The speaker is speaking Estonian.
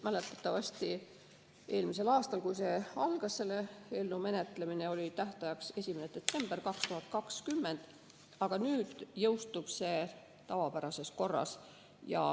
Mäletatavasti oli eelmisel aastal, kui selle eelnõu menetlemine algas, tähtajaks 1. detsember 2020, aga nüüd jõustub see tavapärases korras.